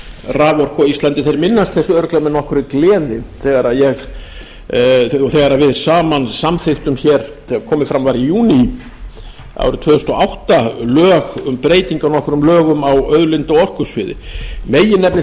raforku á íslandi þeir minnast þess örugglega með nokkurri gleði þegar við saman samþykktum hér þegar komið var fram í júní árið tvö þúsund og átta lög um breytingar á nokkrum lögum á auðlinda og orkusviði meginefni